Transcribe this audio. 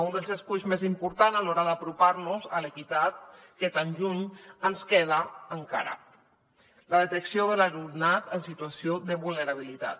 un dels esculls més importants a l’hora d’apropar nos a l’equitat que tan lluny ens queda encara la detecció de l’alumnat en situació de vulnerabilitat